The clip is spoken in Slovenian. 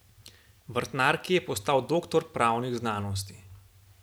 Vrtnar, ki je postal doktor pravnih znanosti.